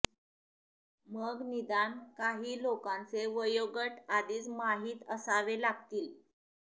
मग निदान काही लोकांचे वयोगट आधीच माहीत असावे लागतील